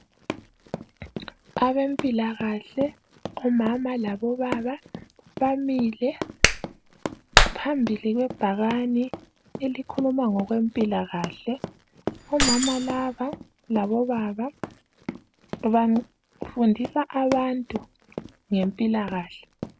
Abempilakahle omama labobaba, bamile phambili kwebhakane elikhuluma ngokwempilakahle. Omama laba labobaba bafundisa abantu ngempilakahle.